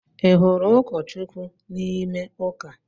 Ị hụ̣rụ̣ ụkọ Chukwu n’ime ụka?